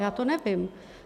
Já to nevím.